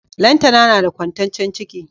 Lantana nada kwantaccen ciki